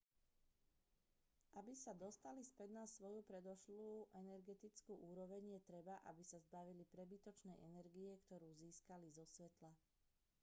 aby sa dostali späť na svoju predošlú energetickú úroveň je treba aby sa zbavili prebytočnej energie ktorú získali zo svetla